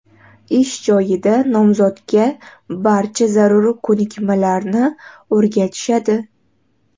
Ish joyida nomzodga barcha zarur ko‘nikmalarni o‘rgatishadi.